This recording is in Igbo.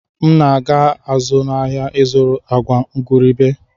M na-aga azụ ahịa ịzụrụ agwa igurube.